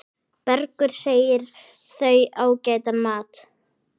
Bergur segir þau ágætan mat.